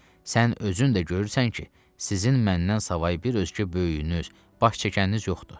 sən özün də görürsən ki, sizin məndən savayı bir özkü böyüyünüz, baş çəkəniniz yoxdur.